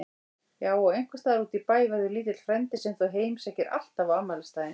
Já og einhvers staðar útí bæ verður lítill frændi sem þú heimsækir alltaf á afmælisdaginn.